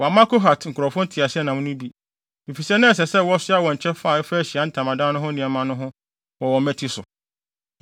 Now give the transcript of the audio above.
Wɔamma Kohat nkurɔfo nteaseɛnam no bi, efisɛ na ɛsɛ sɛ wɔsoa wɔn kyɛfa a ɛfa Ahyiae Ntamadan no ho nneɛma no ho no wɔ wɔn mmati so.